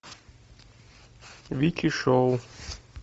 вики шоу